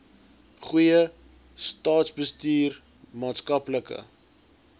goeie staatsbestuur maatskaplike